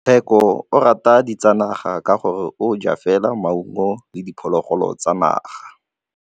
Tshekô o rata ditsanaga ka gore o ja fela maungo le diphologolo tsa naga.